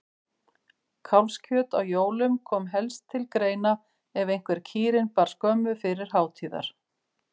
Kálfskjöt á jólum kom helst til greina ef einhver kýrin bar skömmu fyrir hátíðar.